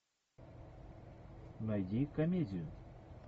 найди комедию